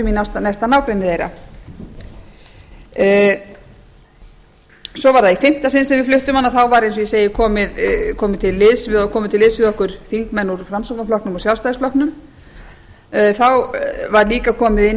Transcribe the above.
í næsta nágrenni þeirra svo var það í fimmta sinn sem við fluttum hana þá var eins og ég segi komnir til liðs við okkur þingmenn úr framsóknarflokknum og sjálfstæðisflokknum þá var líka komið inn